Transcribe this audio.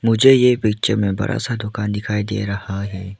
मुझे ये पिक्चर में बड़ा सा दुकान दिखाई दे रहा है।